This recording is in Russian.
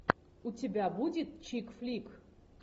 у тебя будет чик флик